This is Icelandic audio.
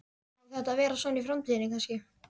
Á þetta að vera svona í framtíðinni kannski?